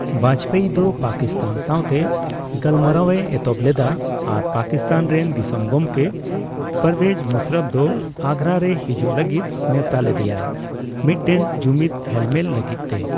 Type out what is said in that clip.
ᱵᱟᱡᱯᱮᱭᱤ ᱫᱚ ᱯᱟᱠᱤᱥᱛᱷᱟᱱ ᱥᱟᱣᱛᱮ ᱜᱟᱞᱢᱟᱨᱟᱣᱮ ᱮᱛᱦᱚᱵ ᱞᱮᱫᱟ ᱟᱨ ᱯᱟᱠᱤᱥᱛᱷᱟᱱ ᱨᱮᱱ ᱫᱤᱥᱚᱢ ᱜᱚᱢᱠᱮ ᱯᱟᱨᱵᱷᱮᱡ ᱢᱩᱥᱟᱨᱯᱷ ᱫᱚ ᱟᱜᱨᱟᱨᱮ ᱦᱤᱡᱩᱜ ᱞᱟᱹᱜᱤᱫ ᱱᱮᱣᱛᱟ ᱞᱮᱫᱮᱭᱟᱭ ᱢᱤᱫᱴᱮᱱ ᱡᱩᱢᱤᱫ ᱦᱮᱞᱢᱮᱞ ᱞᱟᱹᱜᱤᱫ ᱛᱮ ᱾